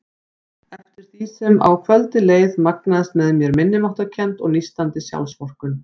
Eftir því sem á kvöldið leið magnaðist með mér minnimáttarkennd og nístandi sjálfsvorkunn.